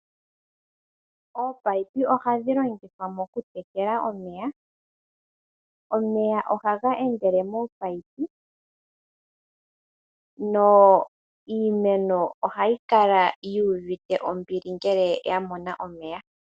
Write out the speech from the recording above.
Ominino ogadhi longithwa mokutekela omeya piimeno, omeya ohaga endela mominino, iimeno ohayi kala yu uvite ombili ngele yamona omeya.